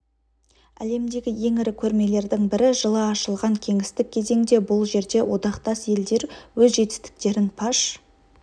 әлемдегі ең ірі көрмелердің бірі жылы ашылған кеңестік кезеңде бұл жерде одақтас елдер өз жетістіктерін паш